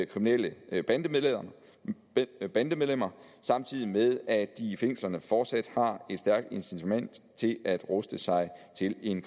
kriminelle bandemedlemmer samtidig med at de i fængslerne fortsat har et stærkt incitament til at ruste sig til en